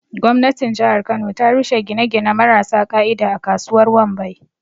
Gwamnatin jihar kano ta rushe gine-gine marasa ƙa'ida a kasuwar Wambai.